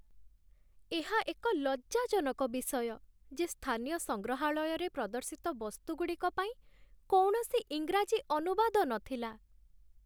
ଏହା ଏକ ଲଜ୍ଜାଜନକ ବିଷୟ ଯେ ସ୍ଥାନୀୟ ସଂଗ୍ରହାଳୟରେ ପ୍ରଦର୍ଶିତ ବସ୍ତୁଗୁଡ଼ିକ ପାଇଁ କୌଣସି ଇଂରାଜୀ ଅନୁବାଦ ନଥିଲା